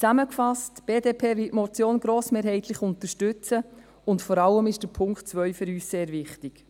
Zusammengefasst: Die BDP wird die Motion grossmehrheitlich unterstützen, und vor allem ist Punkt 2 für uns sehr wichtig.